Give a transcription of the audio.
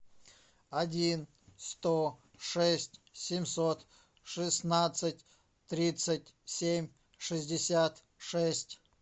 один сто шесть семьсот шестнадцать тридцать семь шестьдесят шесть